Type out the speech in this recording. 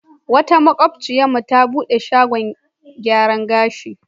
Wata maƙociyarmu ta buɗe shagon gyaran gashi.